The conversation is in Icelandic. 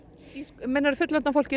meinarðu fullorðna fólkið